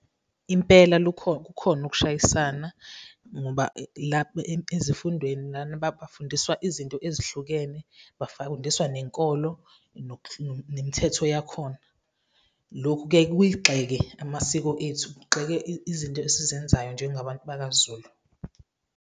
Impela kukhona ukushayisana ngoba ezifundweni lana bafundiswa izinto ezihlukene, bafawundiswa nenkolo nemithetho yakhona. Lokhu kuyaye kuyigxeke amasiko ethu, kugxeke izinto esizenzayo njengabantu bakaZulu.